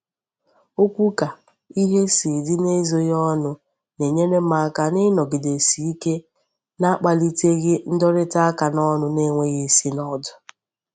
Okwu ka ihe si di n'ezoghi onu na-enyere m aka inogidesike n'akpaliteghi ndurita aka n'onu na-enweghi isi na odu.